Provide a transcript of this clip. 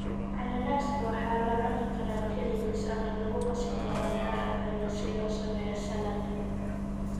Cananaaska waxaa la cuni karaa kaligiis ama lagu qasi karaa miraha kale si loo sameeyo salad.